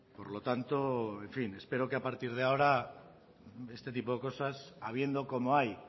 por lo tanto en fin espero que a partir de ahora este tipo de cosas habiendo como hay